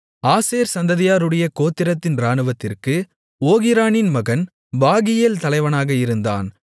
ஆசேர் சந்ததியாருடைய கோத்திரத்தின் இராணுவத்திற்கு ஓகிரானின் மகன் பாகியேல் தலைவனாக இருந்தான்